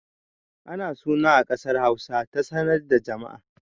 Ana suna a ƙasar Hausa ta sanar da jama'a